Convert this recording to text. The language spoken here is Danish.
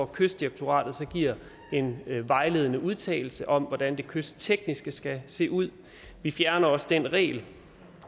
kystdirektoratet så giver en vejledende udtalelse om hvordan det kysttekniske skal se ud vi fjerner også den regel